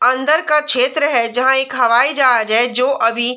अंदर का छेत्र है जंहा एक हवाई जहाज है जो अभी--